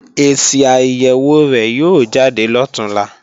Èsì àyèwò rẹ̀ yóò jáde lọ̀túnla